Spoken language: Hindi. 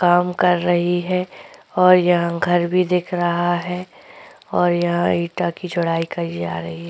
काम कर रही है और यहाँ घर भी दिख रहा है और यहाँ ईटा की चड़ाई करी जा रही है।